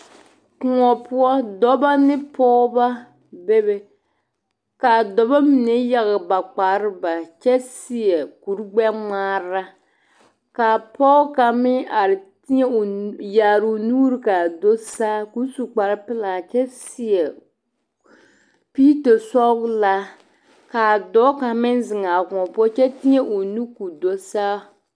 koɔ poɔ dɔbɔ ne pɔgeba be be kaa dɔbɔ mine yage ba kpareŋ bare kyɛ seɛ kurigbɛŋmaara kaa pɔge kaŋ meŋ are yaare o nuuri kaa do saa ka o su kpareŋ pelaa kyɛ seɛ piito sɔgelaa kaa dɔɔ kaŋ meŋ zeŋ a koɔ poɔ kyɛ teɛ o nu k'o do saa